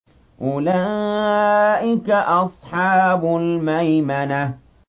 أُولَٰئِكَ أَصْحَابُ الْمَيْمَنَةِ